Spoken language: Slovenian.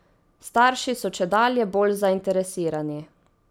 Starši so čedalje bolj zainteresirani.